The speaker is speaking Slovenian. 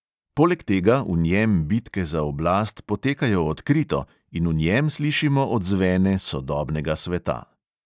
Poleg tega v njem bitke za oblast potekajo odkrito in v njem slišimo odzvene sodobnega sveta.